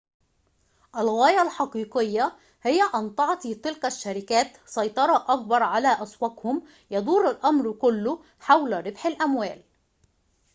الغاية الحقيقية هي أن تعطي تلك الشركات سيطرة أكبر على أسواقهم يدور الأمر كله حول ربح الأموال